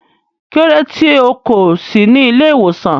Kílódé tí o kò sí ní ìlẹ̀-ìwosan?